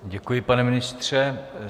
Děkuji, pane ministře.